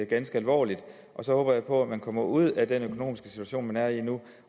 ganske alvorligt og så håber jeg på at man kommer ud af den økonomiske situation man er i nu